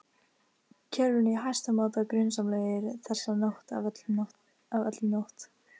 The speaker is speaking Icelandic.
kerfinu í hæsta máta grunsamlegir, þessa nótt af öllum nótt